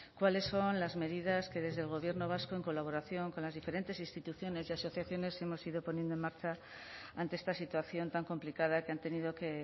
cuáles son las medidas que desde el gobierno vasco en colaboración con las diferentes instituciones y asociaciones hemos ido poniendo en marcha ante esta situación tan complicada que han tenido que